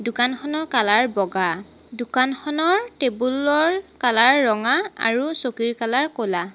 দোকানখনৰ কালাৰ বগা দোকানখনৰ টেবুল ৰ কালাৰ ৰঙা আৰু চকীৰ কালাৰ ক'লা।